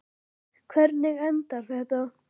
Hvernig endar þetta?